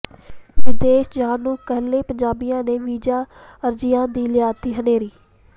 ਵਿਦੇਸ਼ ਜਾਣ ਨੂੰ ਕਾਹਲੇ ਪੰਜਾਬੀਆਂ ਨੇ ਵੀਜ਼ਾ ਅਰਜ਼ੀਆਂ ਦੀ ਲਿਆਂਦੀ ਹਨੇਰੀ